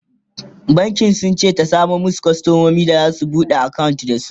bankin sunce ta samo masu kwastamomi da zasu buɗe akawunt da su